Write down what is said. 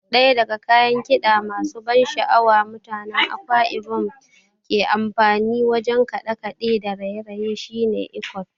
Ɗaya daga kayan kiɗa masu ban sha'awa da mutanen Akwa Ibom ke amfani wajen kaɗe-kaɗe da raye-raye shine Iquot.